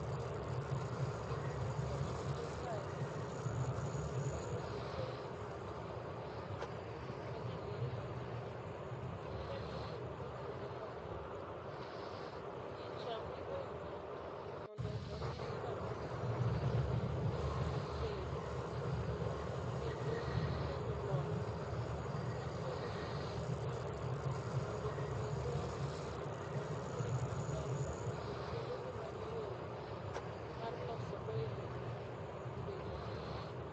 Gik man kod nengo kae gin teyni maji lielgo, chumbe mitenogo kuonde motur,® picha migoyo ng'ato mondo onee kama hinyruokne obedo kendo nitiere jolony matiyo gi gik mag lony mondo ong'ee go hinyruok mantiere kuom dhano kendo gimanyo yore mar losogo hinyruok mobedono.